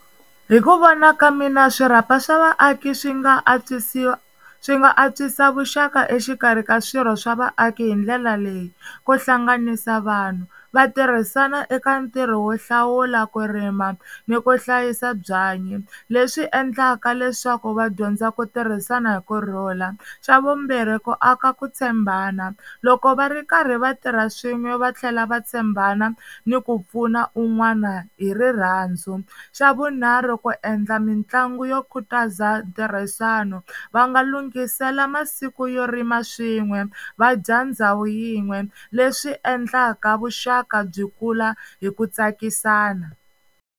Hi ku vona ka mina swirhapa swa vaaki swi nga antswisiwa swi nga antswisa vuxaka exikarhi ka swirho swa vaaki hi ndlela leyi, ku hlanganisa vanhu va tirhisana eka ntirho wo hlawula ku rima ni ku hlayisa byanyi leswi endlaka leswaku va dyondza ku tirhisana hi kurhula, xa vumbirhi ku aka ku tshembana loko va ri karhi va tirha swin'we va tlhela va tshembana ni ku pfuna un'wana hi rirhandzu, xa vunharhu ku endla mitlangu yo khutaza ntirhisano va nga lungisela masiku yo rima swin'we vadya ndhawu yin'we leswi endlaka vuxaka byi kula hi ku tsakisana.